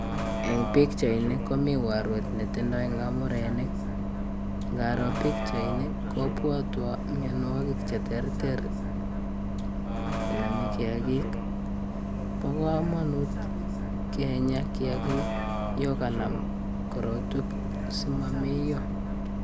En pichaini komii yuu arwet netindoi ngamurenik, inaro pichaini kobwotwon mionwokik cheterter chenome kiakik, bokomonut kinyaa kiakik yoon kanam korotwek simomeyo.